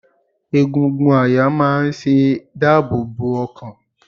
Egungun àyà máa ṣe dáàbò bo ọkàn.